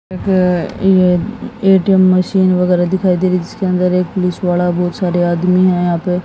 ATM machine वगैरह दिखाई दे इसके अंदर एक पुलिस वाला बहुत सारे आदमी है। यहां पर--